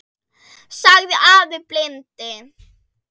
sagði afi blindi.